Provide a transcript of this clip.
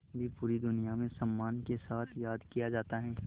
भी पूरी दुनिया में सम्मान के साथ याद किया जाता है